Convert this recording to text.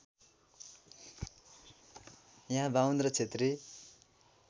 यहाँ बाहुन र क्षेत्री